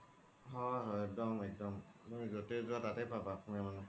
হয় হয় এক্দম এক্দম তুমি জতে জুৱা তাতে পাবা